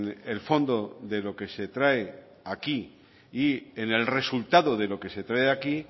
el fondo de lo que se trae aquí y en el resultado de lo que se trae aquí